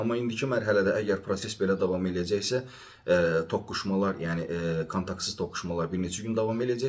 Amma indiki mərhələdə əgər proses belə davam eləyəcəksə, toqquşmalar, yəni kontaktsız toqquşmalar bir neçə gün davam eləyəcək.